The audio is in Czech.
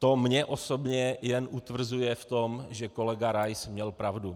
To mě osobně jen utvrzuje v tom, že kolega Rais měl pravdu.